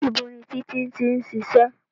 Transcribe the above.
Ibo ni Títí tí ń ṣiṣẹ́?